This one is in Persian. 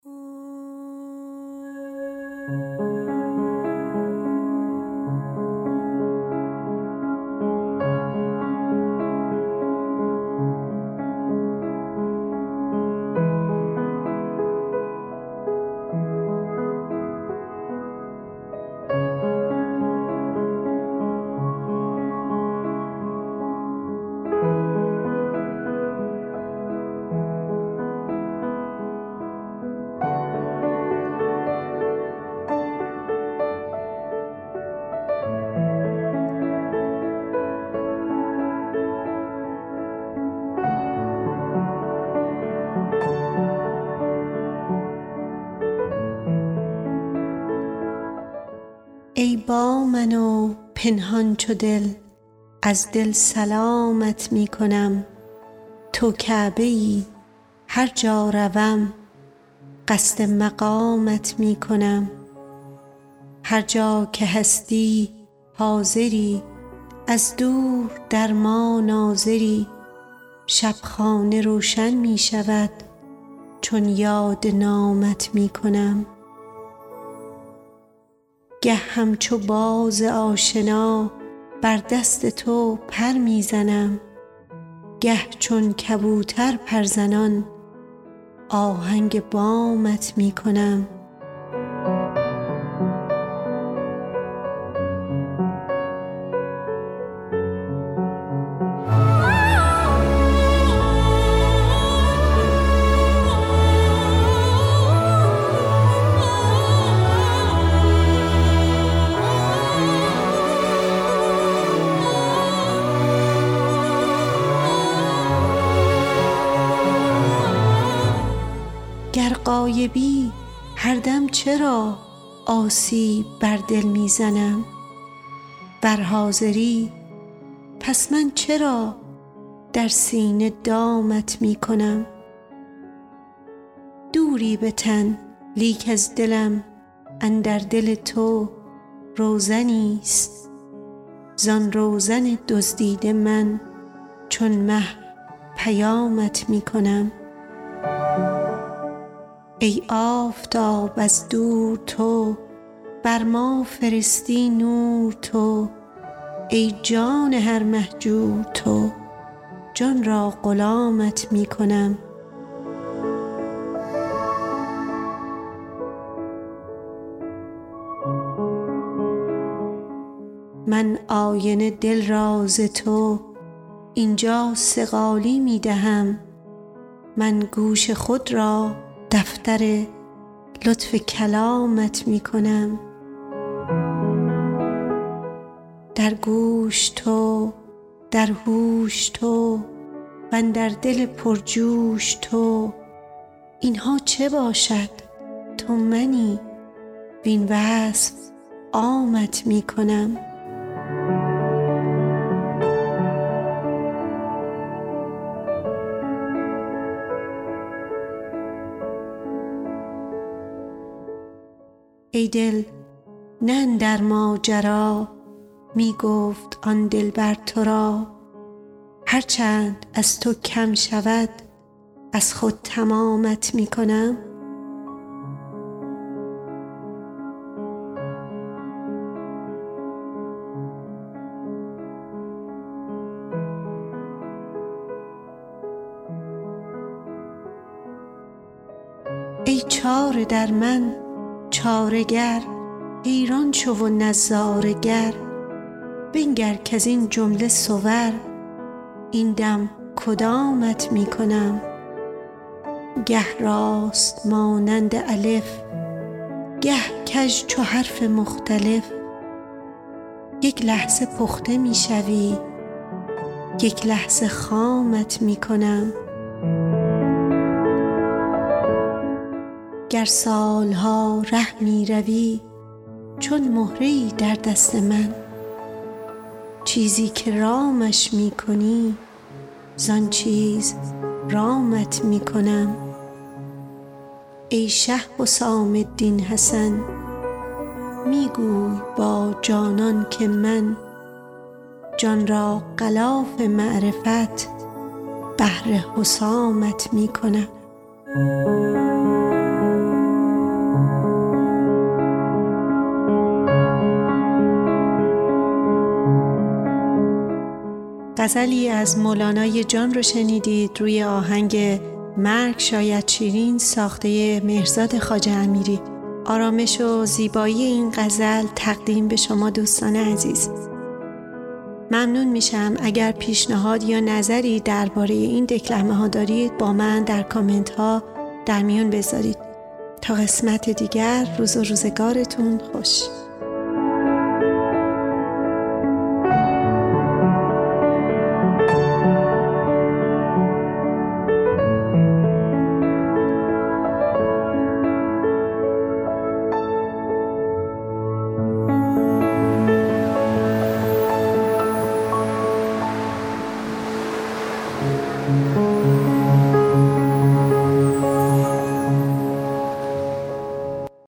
ای با من و پنهان چو دل از دل سلامت می کنم تو کعبه ای هر جا روم قصد مقامت می کنم هر جا که هستی حاضری از دور در ما ناظری شب خانه روشن می شود چون یاد نامت می کنم گه همچو باز آشنا بر دست تو پر می زنم گه چون کبوتر پرزنان آهنگ بامت می کنم گر غایبی هر دم چرا آسیب بر دل می زنی ور حاضری پس من چرا در سینه دامت می کنم دوری به تن لیک از دلم اندر دل تو روزنیست زان روزن دزدیده من چون مه پیامت می کنم ای آفتاب از دور تو بر ما فرستی نور تو ای جان هر مهجور تو جان را غلامت می کنم من آینه دل را ز تو این جا صقالی می دهم من گوش خود را دفتر لطف کلامت می کنم در گوش تو در هوش تو وندر دل پرجوش تو این ها چه باشد تو منی وین وصف عامت می کنم ای دل نه اندر ماجرا می گفت آن دلبر تو را هر چند از تو کم شود از خود تمامت می کنم ای چاره در من چاره گر حیران شو و نظاره گر بنگر کز این جمله صور این دم کدامت می کنم گه راست مانند الف گه کژ چو حرف مختلف یک لحظه پخته می شوی یک لحظه خامت می کنم گر سال ها ره می روی چون مهره ای در دست من چیزی که رامش می کنی زان چیز رامت می کنم ای شه حسام الدین حسن می گوی با جانان که من جان را غلاف معرفت بهر حسامت می کنم